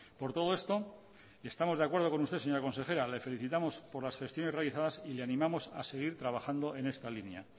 por todo esto estamos de acuerdo con usted señora consejera le felicitamos por las gestiones realizadas y le animamos a seguir trabajando en esta línea